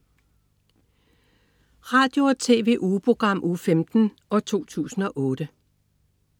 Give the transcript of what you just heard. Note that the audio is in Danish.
Radio- og TV-ugeprogram Uge 15, 2008